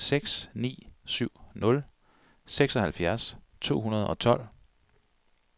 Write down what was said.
seks ni syv nul seksoghalvfjerds to hundrede og tolv